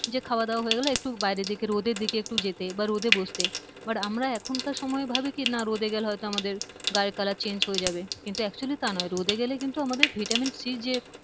যে খাওয়া দাওয়া হয়ে গেলে একটু বাইরের দিকে রোদের দিকে একটু যেতে বা রোদে বসতে but আমরা এখনকার সময়ে ভাবি কি না রোদে গেলে হয়ত আমাদের গায়ের কালার change হয়ে যাবে কিন্তু actually তা না রোদে গেলে কিন্তু আমাদের ভিটামিন সি যে